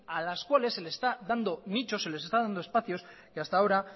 a las cuales se les está dando nichos se les está dando espacios que hasta ahora